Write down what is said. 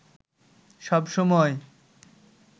সব সময়